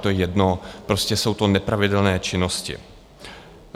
To je jedno, prostě jsou to nepravidelné činnosti.